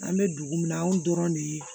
An bɛ dugu min na anw dɔrɔn de ye